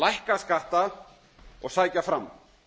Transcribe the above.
lækka skatta og sækja fram